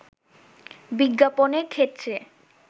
বিজ্ঞাপনের ক্ষেত্রে